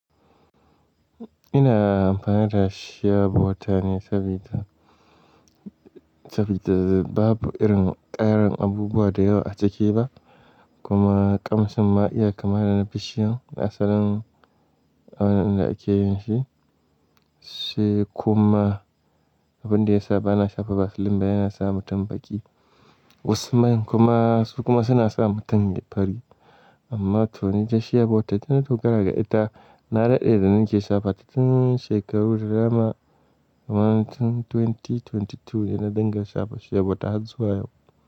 Ina amfani da shea bota ne sabida, sabida babu irin ƙarin abubuwa da yawa a ciki ba kuma ƙamshin ma'iya kamar na bishiyan asalin a wannan inda ake yin shi. Sai kuma abin da ya sa ba na shafa vaseline ba yana sa mutum baƙi. Wasu nan kuma su kuma suna sa mutum ya fari. Amma to ni ta shea bota ina dogara ga ita. Na daɗe da nake shafa, cikin shekaru da dama. Wannan tun dubu biyu da ashirin da biyu yana danga shafa shea bota har zuwa yau.